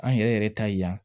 An yɛrɛ yɛrɛ ta ye yan